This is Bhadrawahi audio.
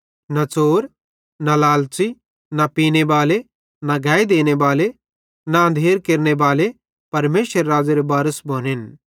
न च़ोर न लालच़ी न पीने बाले न गैई देने बाले न अंधेर केरनेबाले परमेशरेरे राज़्ज़ेरे बारिस भोनेन